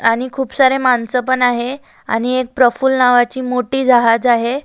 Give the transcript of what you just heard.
आणि खुपसारे माणस पण आहे आणि एक प्रफुल नावाची मोठी जहाज आहे.